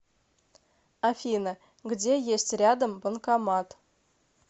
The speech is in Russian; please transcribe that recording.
афина где есть рядом банкомат